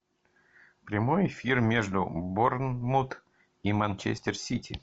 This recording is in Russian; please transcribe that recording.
прямой эфир между борнмут и манчестер сити